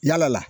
Yala la